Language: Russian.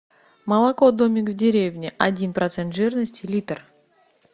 молоко домик в деревне один процент жирности литр